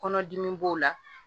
Kɔnɔdimi b'o la